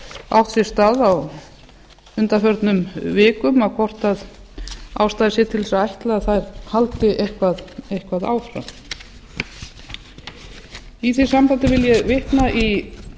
átt sér stað á undanförnum vikum hvort ástæða sé til þess að ætla að þær haldi eitthvað áfram í því sambandi vil ég vitna í